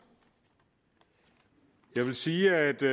jeg vil sige